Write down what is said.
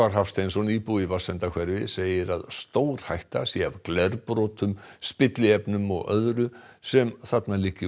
Hafsteinsson íbúi í Vatnsendahverfi segir að stórhætta sé af glerbrotum spilliefnum og öðru sem þarna liggi